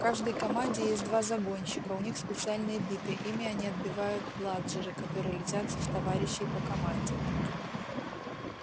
в каждой команде есть два загонщика у них специальные биты ими они отбивают бладжеры которые летят в товарищей по команде